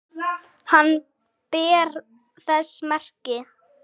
Hann ber þess merki